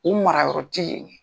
U mara yɔrɔ ti yen ye.